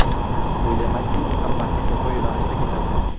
O‘ylamanki, hammasi to‘g‘ri yo‘nalishda ketadi.